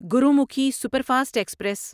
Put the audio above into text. Gurmukhi superfast express